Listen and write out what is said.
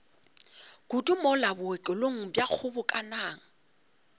kudu mola bookelong bja kgobokanang